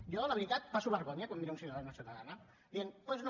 jo la veritat passo vergonya quan miro un ciutadà o una ciutadana dient doncs no